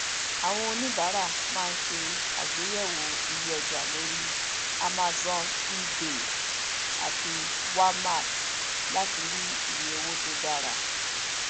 àwọn oníbàárà ma ń ṣe àgbéyẹwò iye ọjà lórí amazon ebay àti walmart láti rí iye owó tó dára